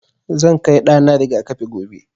Zan kai ɗa na riga-kafi gobe.